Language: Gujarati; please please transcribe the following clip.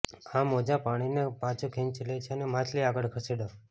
આ મોજાં પાણીને પાછું ખેંચી લે છે અને માછલી આગળ ખસેડો